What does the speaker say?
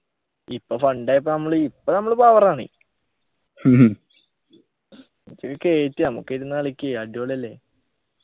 ഇപ്പൊ sunday പ്പൊ നമ്മള് ഇപ്പൊ നമ്മള് power ആണ് ഇജൊക്കെ കേറ്റ് നമുക്കിരുന്നു കളിക്ക് അടിപൊളിയല്ലേ